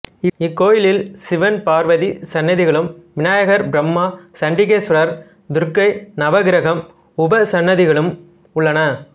இக்கோயிலில் சிவன் பார்வதி சன்னதிகளும் விநாயகர் பிரம்மா சன்டிகேஸ்வரர் துர்க்கை நவகிரகம் உபசன்னதிகளும் உள்ளன